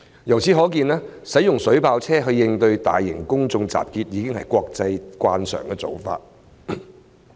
由此可見，使用水炮車應對大型公眾集結，已經是國際慣常的做法。